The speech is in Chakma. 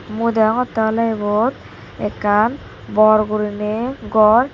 mui degongtte ole ibot ekkan bor guriney gor.